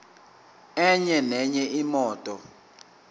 enye nenye imoto